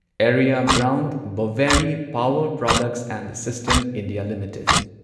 area Brown Boveri power products and system India limited